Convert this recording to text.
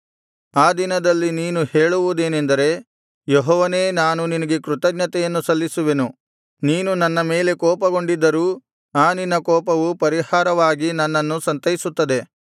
ಆ ದಿನದಲ್ಲಿ ನೀನು ಹೇಳುವುದೇನೆಂದರೆ ಯೆಹೋವನೇ ನಾನು ನಿನಗೆ ಕೃತಜ್ಞತೆಯನ್ನು ಸಲ್ಲಿಸುವೆನು ನೀನು ನನ್ನ ಮೇಲೆ ಕೋಪಗೊಂಡಿದ್ದರೂ ಆ ನಿನ್ನ ಕೋಪವು ಪರಿಹಾರವಾಗಿ ನನ್ನನ್ನು ಸಂತೈಸುತ್ತದೆ